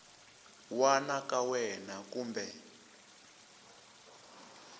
wana ka wena na kumbe